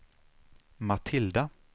Matilda